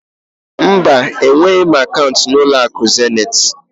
Mba, enweghị m akaụnt na ụlọakụ Zenit.